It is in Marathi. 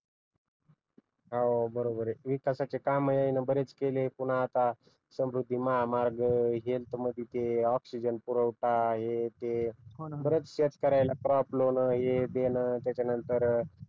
हो बरोबर आहे विकासाची काम आहे ना बरेच केलेत पुन्हा आता समृद्धी महामार्ग ऑक्सिजन पुरवठा हे ते हो ना बरेच